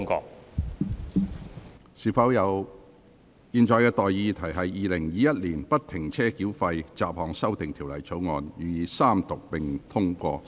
我現在向各位提出的待議議題是：《2021年不停車繳費條例草案》予以三讀並通過。